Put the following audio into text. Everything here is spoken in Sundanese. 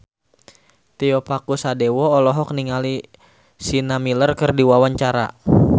Tio Pakusadewo olohok ningali Sienna Miller keur diwawancara